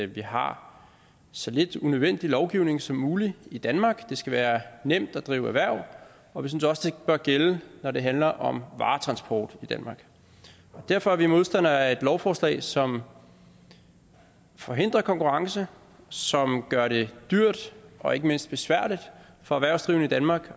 vi har så lidt unødvendig lovgivning som muligt i danmark det skal være nemt at drive erhverv og vi synes også det bør gælde når det handler om varetransport i danmark derfor er vi modstandere af et lovforslag som forhindrer konkurrence som gør det dyrt og ikke mindst besværligt for erhvervsdrivende i danmark